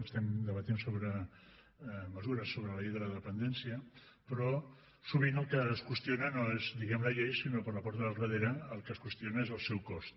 estem debatent sobre mesures sobre la llei de la dependència però sovint el que es qüestiona no és diguemne la llei sinó que per la porta del darrere el que es qüestiona és el seu cost